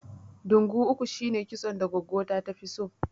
Ɗungu uku shine kitson da goggo ta tafi so